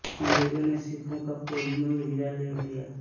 अंग्रेजों ने सिखों से कोहिनूर हीरा ले लिया